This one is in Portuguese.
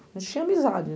A gente tinha amizade, né?